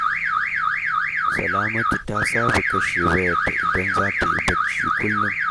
Salamtu ta saba kashe wayarta idan za ta yi bacci kullum.